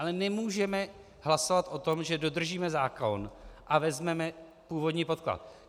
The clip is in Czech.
Ale nemůžeme hlasovat o tom, že dodržíme zákon a vezmeme původní podklad.